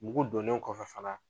Mugu donnen kɔfɛ fana